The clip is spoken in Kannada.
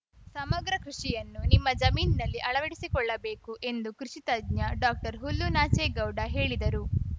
ಸಮಗ್ರ ಕೃಷಿಯನ್ನು ನಿಮ್ಮ ಜಮೀನಿನಲ್ಲಿ ಅಳವಡಿಸಿಕೊಳ್ಳಬೇಕು ಎಂದು ಕೃಷಿತಜ್ಞ ಡಾಕ್ಟರ್ಹುಲ್ಲುನಾಚೇಗೌಡ ಹೇಳಿದರು